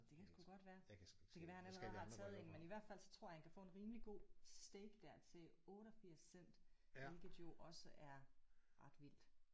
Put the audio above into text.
Det kan sgu godt være. Det kan være han allerede har taget en men i hvert fald så tror jeg han kan få en rimelig god steak der til 88 cent hvilket jo også er ret vildt